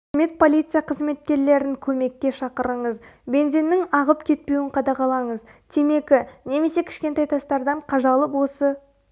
қызмет полиция қызметкерлерін көмекке шақырыңыз бензиннің ағып кетпеуін қадағалаңыз темекі немесе кішкентай тастардан қажалып осы